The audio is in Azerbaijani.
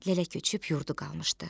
Lələ köçüb yurdu qalmışdı.